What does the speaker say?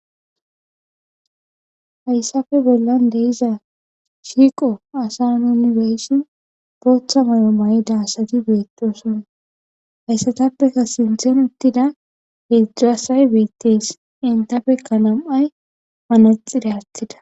Hayissappe bollanni diza shiqqo asaa nuu be'ishshinn boththa mayo mayidda asati betosonna hayissatappe qaa sinththenni uttida hezhzhu asayi betees.